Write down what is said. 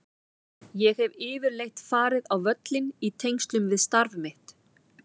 Ég hef yfirleitt farið á völlinn í tengslum við starf mitt.